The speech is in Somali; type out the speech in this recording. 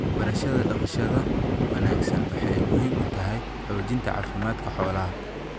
Barashada dhaqashada wanaagsan waxay muhiim u tahay xoojinta caafimaadka xoolaha.